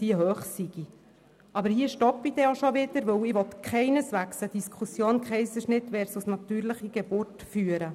Aber hier höre ich jetzt auf, denn ich möchte keineswegs eine Diskussion «Kaiserschnitt versus natürliche Geburt» führen.